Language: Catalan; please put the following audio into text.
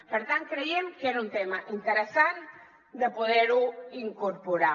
per tant creiem que era un tema interessant de poder incorporar